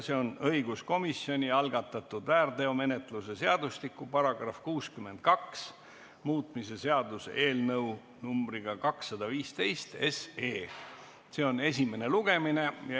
See on õiguskomisjoni algatatud väärteomenetluse seadustiku § 62 muutmise seaduse eelnõu 215 esimene lugemine.